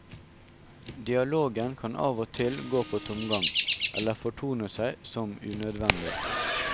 Dialogen kan av og til gå på tomgang eller fortone seg som unødvendig.